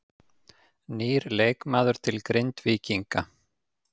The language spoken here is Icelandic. Nýr leikmaður til Grindvíkinga